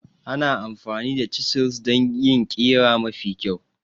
Ana amfani da chisels don yin ƙira mafi kyau.